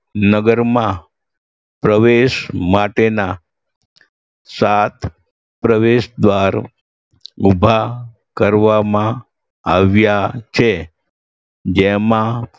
નગરમાં પ્રવેશ માટેના સાત પ્રવેશદ્વાર ઉભા કરવામાં આવ્યા છે જેમાં